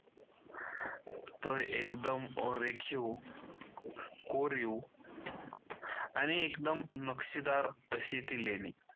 तर एकदम अरेखीव कोरीव आणि एकदम नक्षीदार अशी ती लेणी.